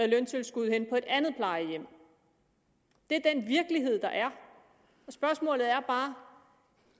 løntilskud hen på et andet plejehjem det er den virkelighed der er spørgsmålet er bare